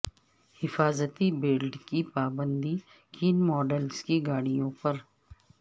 حفاظتی بیلٹ کی پابندی کن ماڈلز کی گاڑیوں پر